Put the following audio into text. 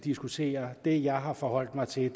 diskutere det jeg har forholdt mig til